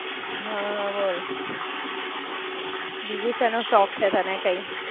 હાં, બોલ, બીજો શેનો શોખ છે તને કઈ?